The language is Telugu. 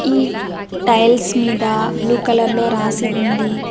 ఈ టైల్స్ మీద బ్లూ కలర్ లో రాసి ఉంది.